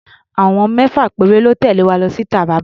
Àwọn mẹ́fà péré lọ́ tẹ̀lé wa lọ sí Taraba.